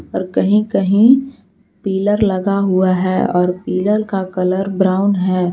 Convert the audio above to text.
और कहीं कहीं पिलर लगा हुआ है और पीलर का कलर ब्राउन है।